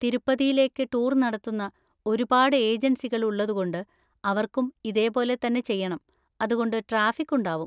തിരുപ്പതിയിലേക്ക് tour നടത്തുന്ന ഒരുപാട് ഏജൻസികൾ ഉള്ളതുകൊണ്ട് അവർക്കും ഇതേപോലെ തന്നെ ചെയ്യണം, അതുകൊണ്ട് ട്രാഫിക്ക് ഉണ്ടാവും.